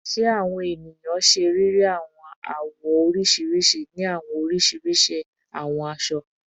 Ṣe awọn eniyan ṣe riri awọn awọ oriṣiriṣi ni awọn oriṣiriṣi awọn aṣọ?